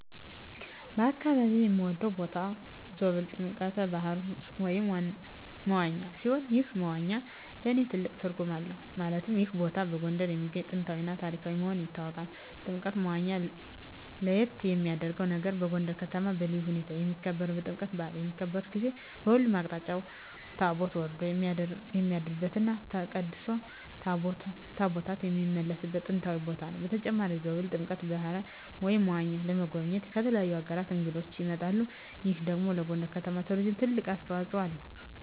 በአካባቢየ የምወደው ቦታ ዞብል ጥምቀተ ባህሩ (መዋኛ) ሲሆን ይህ መዋኛ ለእኔ ትልቅ ትርጉም አለው ማለትም ይህ ቦታ በጎንደር የሚገኝ ጥንታዊ እና ታሪካዊ መሆኑ ይታወቃል። ጥምቀተ መዋኛው ለየት የሚያረገው ነገር በጎንደር ከተማ በልዩ ሁኔታ የሚከበረው የጥምቀት በአል በሚከበርበት ጊዜ በሁሉም አቅጣጫ ታቦት ወርዶ የሚያድርበት እና ተቀድሶ ታቦታት የሚመለስበት ጥንታዊ ቦታ ነው። በተጨማሪም ዞብል ጥምቀተ በሀሩ (መዋኛው) ለመጎብኘት ከተለያዩ አገራት እንግዶች ይመጣሉ ይህ ደግሞ ለጎንደር ከተማ ለቱሪዝም ትልቅ አስተዋጽኦ አለው።